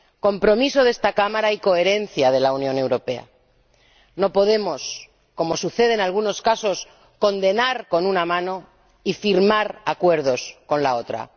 Compromiso de esta Cámara y coherencia de la Unión Europea. No podemos, como sucede en algunos casos, condenar con una mano y firmar acuerdos con la otra.